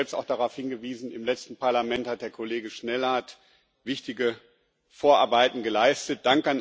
Aber sie hat selbst auch darauf hingewiesen Im letzten Parlament hat der Kollege Schnellhardt wichtige Vorarbeiten geleistet.